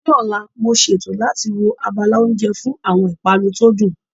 Ní ọ̀la, mo ṣètò láti wo abala oúnjẹ fún àwọn ìpanu tó dùn